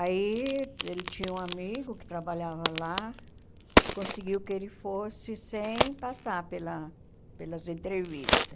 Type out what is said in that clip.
Aí ele tinha um amigo que trabalhava lá, conseguiu que ele fosse sem passar pela pelas entrevistas.